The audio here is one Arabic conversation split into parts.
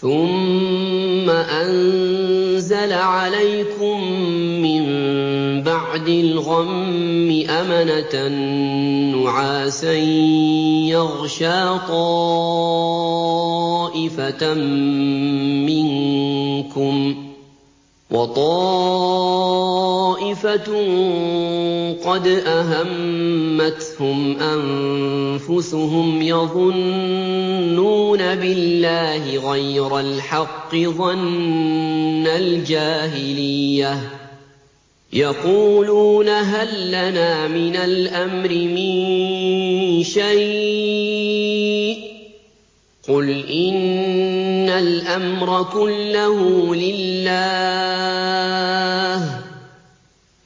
ثُمَّ أَنزَلَ عَلَيْكُم مِّن بَعْدِ الْغَمِّ أَمَنَةً نُّعَاسًا يَغْشَىٰ طَائِفَةً مِّنكُمْ ۖ وَطَائِفَةٌ قَدْ أَهَمَّتْهُمْ أَنفُسُهُمْ يَظُنُّونَ بِاللَّهِ غَيْرَ الْحَقِّ ظَنَّ الْجَاهِلِيَّةِ ۖ يَقُولُونَ هَل لَّنَا مِنَ الْأَمْرِ مِن شَيْءٍ ۗ قُلْ إِنَّ الْأَمْرَ كُلَّهُ لِلَّهِ ۗ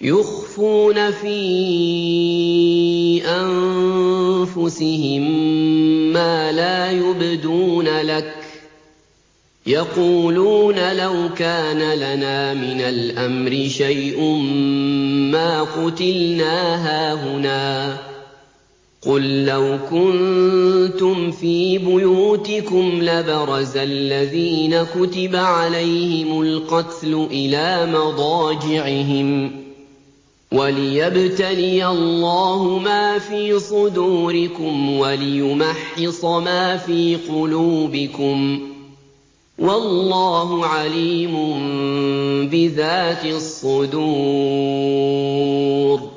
يُخْفُونَ فِي أَنفُسِهِم مَّا لَا يُبْدُونَ لَكَ ۖ يَقُولُونَ لَوْ كَانَ لَنَا مِنَ الْأَمْرِ شَيْءٌ مَّا قُتِلْنَا هَاهُنَا ۗ قُل لَّوْ كُنتُمْ فِي بُيُوتِكُمْ لَبَرَزَ الَّذِينَ كُتِبَ عَلَيْهِمُ الْقَتْلُ إِلَىٰ مَضَاجِعِهِمْ ۖ وَلِيَبْتَلِيَ اللَّهُ مَا فِي صُدُورِكُمْ وَلِيُمَحِّصَ مَا فِي قُلُوبِكُمْ ۗ وَاللَّهُ عَلِيمٌ بِذَاتِ الصُّدُورِ